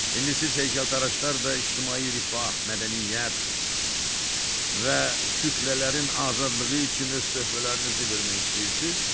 İndi siz heykəltaraşlar da ictimai rifah, mədəniyyət və kütlələrin azadlığı üçün öz töhfələrinizi vermək istəyirsiz?